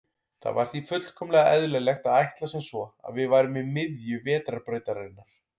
Það var því fullkomlega eðlilegt að ætla sem svo að við værum í miðju Vetrarbrautarinnar.